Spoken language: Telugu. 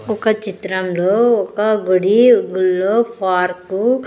ఒక చిత్రంలో ఒక గుడి గుళ్ళో పార్కు .